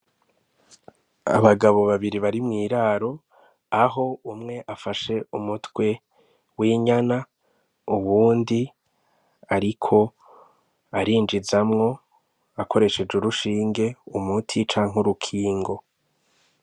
Abagabo babiri bari mw'iraro, aho umwe afashe umutwe w'inyana uwundi ariko arinjizamwo akoresheje urushinge umuti canke urukingo.